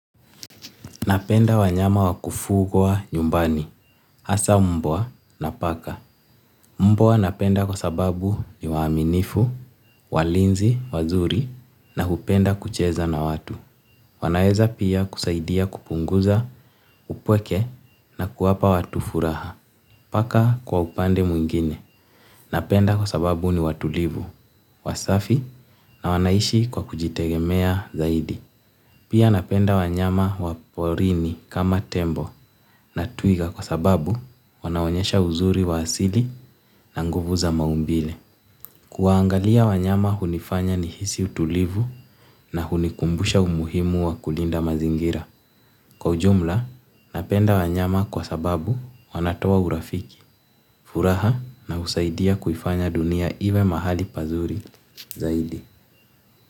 Napenda wanyama wa kufugwa nyumbani, hasa mbwa na paka. Mbwa napenda kwa sababu ni waaminifu, walinzi, wazuri na hupenda kucheza na watu. Wanaweza pia kusaidia kupunguza upweke na kuwapa watu furaha. Paka kwa upande mwingine. Napenda kwa sababu ni watulivu, wasafi na wanaishi kwa kujitegemea zaidi. Pia wanyama wa porini kama tembo na twiga kwa sababu wanaonyesha uzuri wa asili na nguvu za maumbile. Kuwaangalia wanyama hunifanya nihisi utulivu na hunikumbusha umuhimu wa kulinda mazingira. Kwa ujumla, napenda wanyama kwa sababu wanatoa urafiki, furaha na husaidia kuifanya dunia iwe mahali pazuri zaidi.